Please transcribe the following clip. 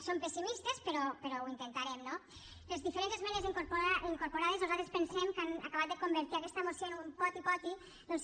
som pessimistes però ho intentarem no les diferents esmenes incorporades nosaltres pensem que han acabat de convertir aquesta moció en un poti poti doncs